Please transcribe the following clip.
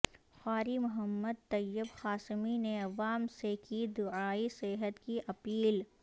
قاری محمد طیب قاسمی نے عوام سے کی دعائےصحت کی اپیل